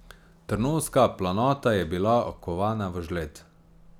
Trnovska planota je bila okovana v žled.